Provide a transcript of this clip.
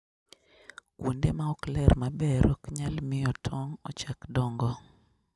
Kuonde maok ler maber ok nyal miyo tong' ochak dongo.